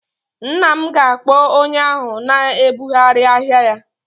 Nne m ga-akpọ onye ahụ na-ebugharị ahịa ya